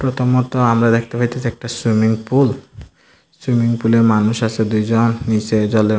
প্রথমত আমরা দেখতে পাইতেছি একটা সুইমিং পুল সুইমিং পুলে এ মানুষ আছে দুইজন নীচে জলের --